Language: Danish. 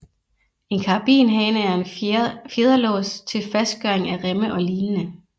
En karabinhage er en fjederlås til fastgøring af remme og lignende